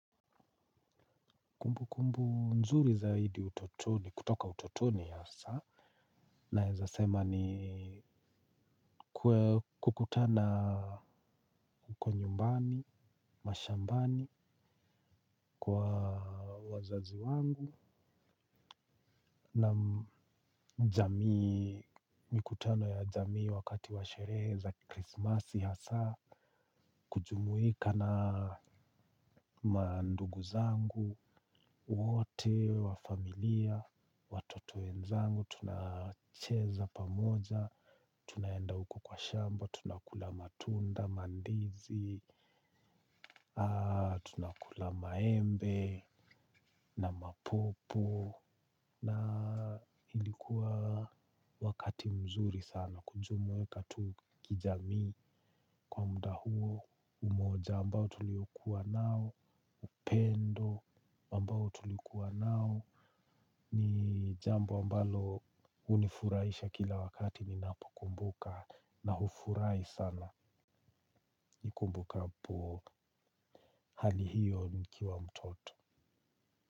Kumbukumbu nzuri zaidi kutoka utotoni asa naeza sema ni kukutana uko nyumbani, mashambani kwa wazazi wangu, na mikutano ya jamii wakati washereheza krismasi hasa, kujumuika na manduguzangu, wote, wafamilia, watoto wenzangu, tunacheza pamoja. Tunaenda uko kwa shamba, tunakula matunda, mandizi, tunakula maembe na mapopo. Na ilikuwa wakati mzuri sana kujumuika tu kijami kwa mda huo umoja ambao tuliokuwa nao upendo ambao tulikiwa nao. Ni jambo ambalo unifuraisha kila wakati nina po kumbuka na hufurai sana nikupumbukapo hali hiyo nikiwa mtoto.